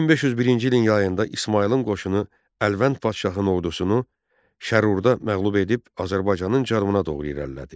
1501-ci ilin yayında İsmayılın qoşunu Əlvənd Paşanın ordusunu Şərurda məğlub edib, Azərbaycanın cənubuna doğru irəlilədi.